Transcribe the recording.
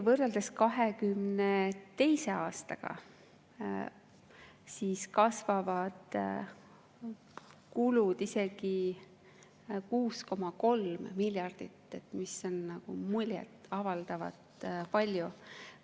Võrreldes 2022. aastaga kasvavad kulud isegi 6,3 miljardit, mis on muljet avaldavalt palju.